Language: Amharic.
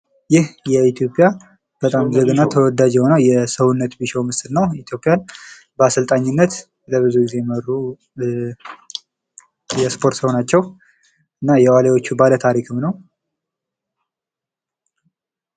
ይህ በጣም የኢትዮጵያ ተወዳጅ የሆነ የሰውነት ቢሻው ምስል ነው። ኢትዮጵያን በአሰልጣኝነት ኢትዮጵያን ብዙ ጊዜ የመሩ የስፖርት ሰው ናቸው። እና የዋሊያዎቹ ባለታሪክም ነው።